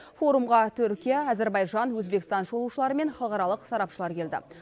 форумға түркия әзербайжан өзбекстан шолушылары мен халықаралық сарапшылар келді